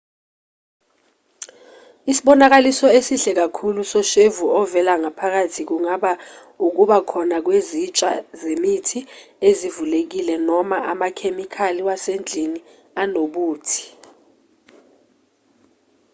isibonakaliso esihle kakhulu soshevu ovela ngaphakathi kungaba ukuba khona kwezitsha zemithi ezivulekile noma amakhemikhali wasendlini anobuthi